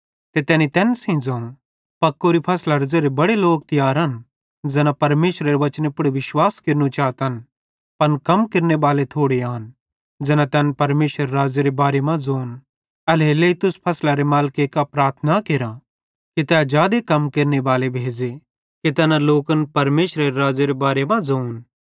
ते तैनी तैन सेइं ज़ोवं पकोरी फसलरे ज़ेरे बड़े लोक तियार आन ज़ैना परमेशरेरे वचने पुड़ विश्वास केरनू चातन पन कम केरनेबाले थोड़े आन ज़ैना तैन परमेशरे राज़्ज़ेरे बारे मां ज़ोन एल्हेरेलेइ तुस फसलरे मालिके कां प्रार्थना केरा कि तै जादे कम केरनेबाले भेज़े कि तैना लोकन परमेशरेरे राज़्ज़ेरे बारे मां ज़ोन